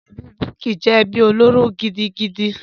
Ẹbí Bukky jẹ́ ẹbí olóró gidigidi.